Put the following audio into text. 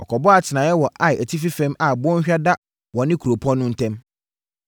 Wɔkɔbɔɔ atenaeɛ wɔ Ai atifi fam a bɔnhwa da wɔne kuropɔn no ntam.